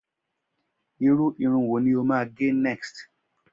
irú Irun wón ní o máa ge next?